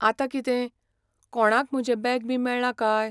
आंतां कितें? कोणाक म्हजें बॅग बी मेळ्ळां काय?